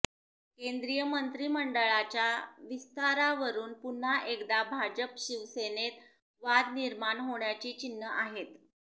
केंद्रीय मंत्रिमंडळाच्या विस्तारावरून पुन्हा एकदा भाजप शिवसेनेत वाद निर्माण होण्याची चिन्ह आहेत